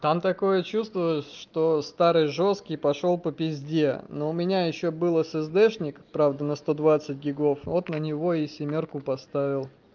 там такое чувство что старый жёсткий пошёл по пизде но у меня ещё было эсэсдешник правда на сто двадцать гигов вот на него и семёрку поставил